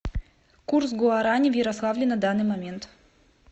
курс гуарани в ярославле на данный момент